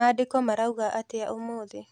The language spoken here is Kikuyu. Mandĩko marauga atĩa ũmũthĩ.